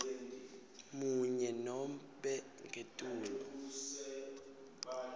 munye nobe ngetulu